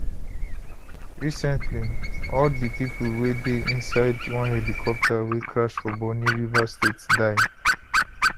recently all di pipo wey dey insideone helicopter wey crash for bonny rivers state die